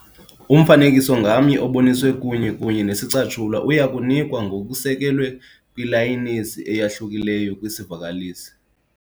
Umfanekiso ngamnye oboniswe kunye kunye nesicatshulwa uya kunikwa ngokusekelwe kwilayisenisi eyahlukileyo kwisivakalisi.